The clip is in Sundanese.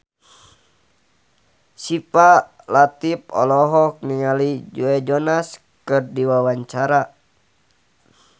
Syifa Latief olohok ningali Joe Jonas keur diwawancara